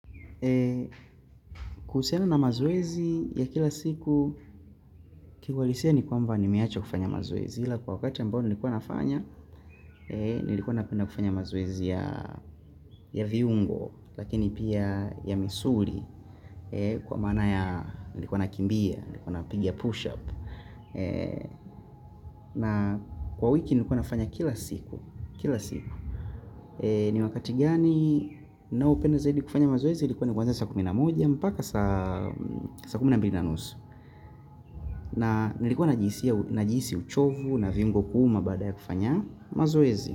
Kuhusiana na maoezi ya kila siku, kiiwalisia ni kwamba nimeacha kufanya mazoezi. Hila kwa wakati ambao nilikuwa nafanya, nilikuwa napenda kufanya mazoezi ya viungo, lakini pia ya misuri, kwa maana ya nilikuwa nakimbia, nilikuwa na pigia push-up. Na kwa wiki nilikuwa nafanya kila siku, kila siku. Ni wakati gani ninaopenda zaidi kufanya mazoezi ilikuwa ni kwanza sa kumi na moja mpaka saa kumi na mbili na nusu. Na ilikuwa najiisi uchovu na viungo kuma baada ya kufanya mazoezi.